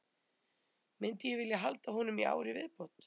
Myndi ég vilja halda honum í ár í viðbót?